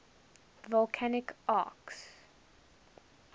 volcanic arcs